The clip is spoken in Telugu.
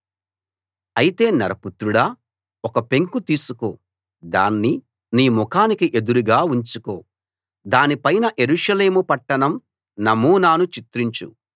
అయితే నరపుత్రుడా ఒక పెంకు తీసుకో దాన్ని నీముఖానికి ఎదురుగా ఉంచుకో దాని పైన యెరూషలేము పట్టణం నమూనాను చిత్రించు